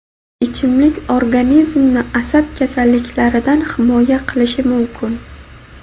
ichimlik organizmni asab kasalliklaridan himoya qilishi mumkin.